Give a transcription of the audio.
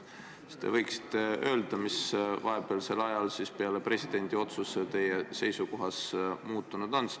Kas te võiksite öelda, mis vahepealsel ajal pärast presidendi otsust teie seisukohas muutunud on?